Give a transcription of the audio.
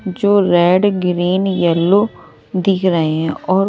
जो red green yellow दिख रहे हैं और--